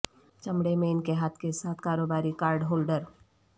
چمڑے میں ان کے ہاتھ کے ساتھ کاروباری کارڈ ہولڈر